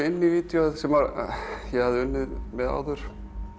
inn í vídeóið sem ég hafði unnið með áður